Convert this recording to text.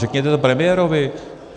Řekněte to premiérovi.